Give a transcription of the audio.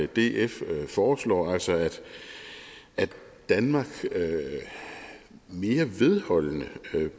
df foreslår altså at danmark mere vedholdende